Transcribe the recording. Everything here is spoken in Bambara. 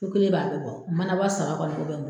N kelen b'a bɛɛ bɔ manaba saba kɔni o bɛ bɔ